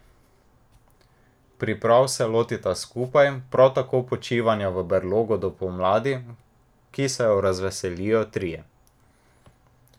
Priprav se lotita skupaj, prav tako počivanja v brlogu do pomladi, ki se jo razveselijo trije.